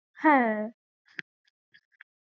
হ্যাঁ